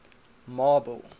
marble